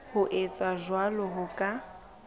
ho etsa jwalo ho ka